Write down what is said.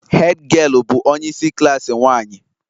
Hed giel bụ onye isi klaasị nwanyị